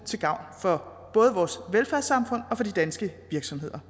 til gavn for både vores velfærdssamfund og de danske virksomheder